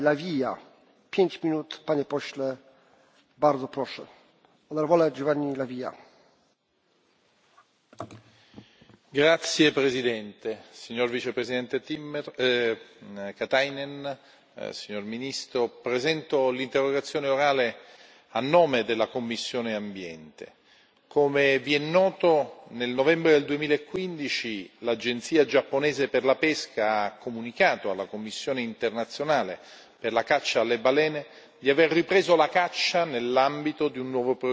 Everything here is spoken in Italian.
Signor Presidente, onorevoli colleghi, signor Vicepresidente Katainen, signor Ministro, presento l'interrogazione orale a nome della commissione per l'ambiente. Come vi è noto, nel novembre del 2015 l'agenzia giapponese per la pesca ha comunicato alla Commissione internazionale per la caccia alle balene di aver ripreso la caccia nell'ambito di un nuovo programma.